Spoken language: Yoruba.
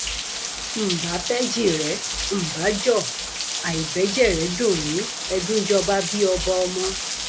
n bá bẹjìrẹ ǹ bá jọ àì bẹjẹrẹ dùn mí ẹdùnjọbabí ọba ọmọ